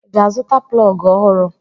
I ga-azụta plọgụ ọhụrụ?